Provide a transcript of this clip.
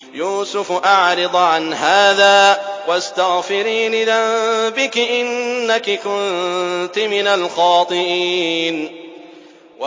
يُوسُفُ أَعْرِضْ عَنْ هَٰذَا ۚ وَاسْتَغْفِرِي لِذَنبِكِ ۖ إِنَّكِ كُنتِ مِنَ الْخَاطِئِينَ